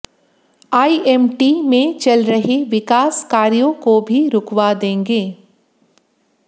IMT में चल रहे विकास कार्यों को भी रुकवा देंगे